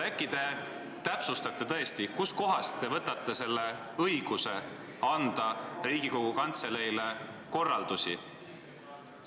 Äkki te tõesti selgitate, kust kohast te võtate endale õiguse anda Riigikogu Kantseleile selliseid korraldusi?